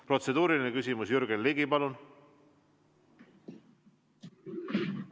Protseduuriline küsimus, Jürgen Ligi, palun!